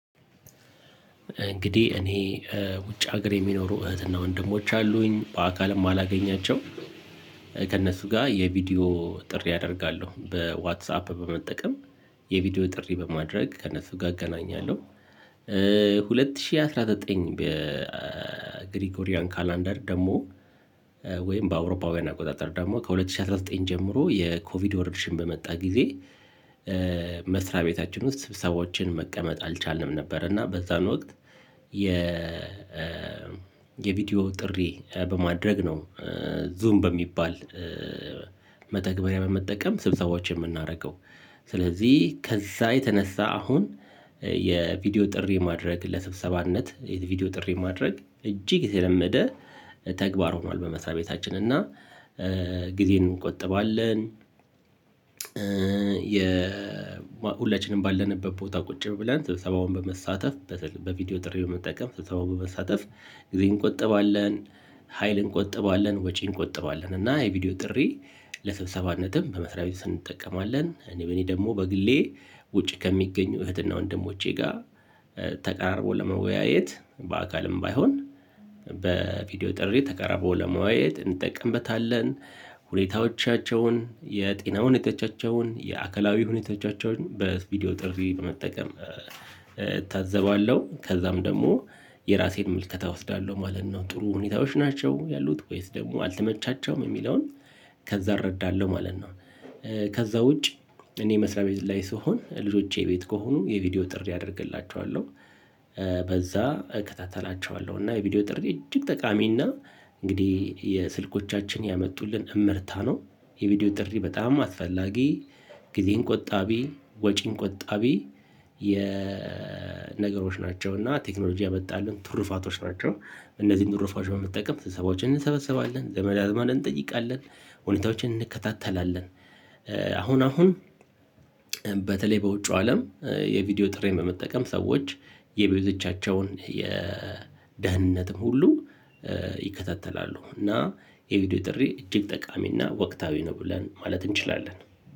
እንግዲህ እኔ ውጭ ሀገር የሚኖሩ እህትና ወንድሞች አሉኝ በአካልም አላገኛቸውም ከእነሱ ጋር የቪዲዮ ጥሪ አደርጋለሁ በዋትሳፕ በመጠቀም የቪዲዮ ጥሪ በማድረግ ከእነሱ ጋር አገናኛለሁ። ሁለት ሺህ አስራ ዘጠኝ በግሪኮሪያን ካላንደር ደግሞ ወይም በአውሮፓውያን አቆጣጠር ደግሞ ከሁለት ሺህ አስራ ዘጠኝ ጀምሮ የኮቪድ ወረርሽኝ በመጣ ጊዜ። መስሪያ ቤታችን ውስጥ ስብሰባዎችን መቀመጥ አልቻልንም ነበር እና በዛን ወቅት የ የቪዲዮ ጥሪ በማድረግ ነው ዙም በሚባል መተግበሪያ በመጠቀም ስብሰባዎች የምናደርገው። ስለዚህ ከዛ የተነሳ አሁን የቪዲዮ ጥሪ ማድረግ ለስብሰባነት የቪዲዮ ጥሪ ማድረግ እጅግ የተለመደ ተግባር ሆኗል። በመስሪያ ቤታችን እና ጊዜን እንቆጥባለን። የ ሁላችንም ባለንበት ቦታ ቁጭ ብለን ስብሰባውን በመሳተፍ በቪዲዮ ጥሪ መጠቀም ስብሰባውን በመሳተፍ ጊዜ እንቆጥባለን ሀይል እንቆጥባለን ወጪ እንቆጥባለን እና የቪዲዮ ጥሪ ለሰብሰባነትም በመስሪያ ቤት እንጠቀማለን። እኔ በእኔ ደግሞ በግሌ ውጪ ከሚገኙ እህትና ወንድሞቼ ጋር ተቀራርቦ ለመወያየት በአካልም ባይሆን በቪዲዮ ጥሪ ተቀራርቦ ለመዋየት እንጠቀምበታለን። ሁኔታዎቻቸውን የጤና ሁኔታዎቻቸውን የአካላዊውን ሁኔታዎቻቸውን በቪዲዮ ጥሪ በመጠቀም እታዘባለሁ ከዛም ደግሞ የራሴን ምልከታ እወስዳለሁ ማለት ነው ጥሩ ሁኔታዎች ናቸው ያሉት ወይስ ደግሞ አልተመቻቸውም የሚለውን ከዛ እረዳለሁ ማለት ነው። ከዛ ውጭ እኔ መስሪያ ቤት ላይ ስሆን ልጆቼ ቤት ከሆኑ የቪዲዮ ጥሪ አደርግላቸዋለሁ። በዛ እከታተላቸዋለሁ እና የቪዲዮ ጥሪ እጅግ ጠቃሚና እንግዲህ የስልኮቻችን ያመጡልን እምርታ ነው። የቪዲዮ ጥሪ በጣም አስፈላጊ ጊዜን ቆጣቢ ወጪን ቆጣቢ የነገሮች ናቸው እና ቴክኖሎጂ ያመጣልን ትሩፋቶች ናቸው። እነዚህን ትሩፋቸው በመጠቀም ስብሰባዎችን እንሰበሰባለን ዘመድ አዝማድ እንጠይቃለን ሁኔታዎችን እንከታተላለን። አሁን አሁን በተለይ በውጪው አለም የቪዲዮ ጥሪን በመጠቀም ሰዎች የብዙዎቻቸውን የደህንነትም ሁሉ ይከታተላሉ እና የቪዲዮ ጥሪ እጅግ ጠቃሚ እና ወቅታዊ ነው ብለን ማለት እንችላለን።